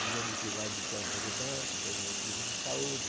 Dizendo que vai deixar de fazer banca por motivo de saúde.